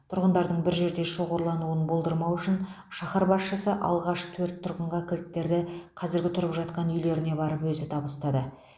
тұрғындардың бір жерде шоғырлануын болдырмау үшін шаһар басшысы алғаш төрт тұрғынға кілттерді қазіргі тұрып жатқан үйлеріне барып өзі табыстады